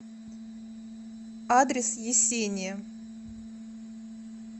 адрес есения